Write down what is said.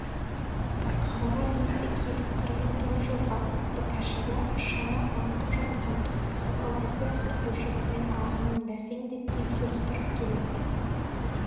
қалаға лезде келіп кірген торжорға атты кәшаба шана аңқып жатқан түп-түзу колпаковский көшесімен ағынын бәсеңдетпей соқтырып келеді